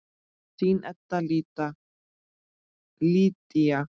Þín Edda Lydía.